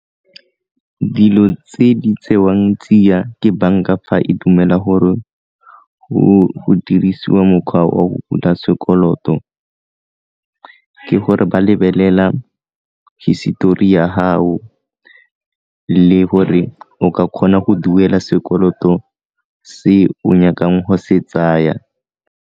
Dilo tse di tsewang tsia ke banka fa e dumela gore go dirisiwa mokgwa o go bula sekoloto, ke gore ba lebelela hisetori ya gago le gore o ka kgona go duela sekoloto se o nyakang go se tsaya.